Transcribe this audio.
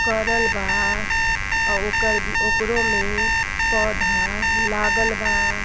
करल बा आ ओकर ओकरो में पौधा लागल बा।